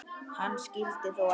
Hann skyldi þó ekki.